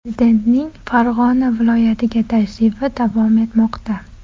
Prezidentning Farg‘ona viloyatiga tashrifi davom etmoqda.